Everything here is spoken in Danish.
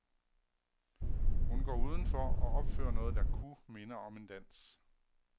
Hun går uden for og opfører noget, der kunne minde om en dans.